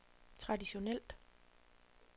traditionelt